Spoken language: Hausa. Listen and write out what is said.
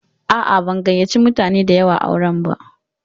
A'a, ban gayyace mutane da yawa auren ba.